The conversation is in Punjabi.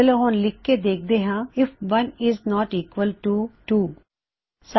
ਚਲੋ ਹੁਣ ਲਿਖਕੇ ਦੇਖਦੇ ਹਾਂ if 1 isn't equal to 2 1 isn't equal to 2